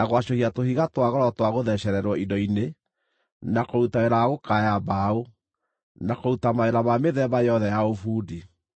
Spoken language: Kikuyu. gwacũhia tũhiga twa goro twa gũthecererwo indo-inĩ, na kũruta wĩra wa gũkaaya mbaũ, na kũruta mawĩra ma mĩthemba yothe ya ũbundi.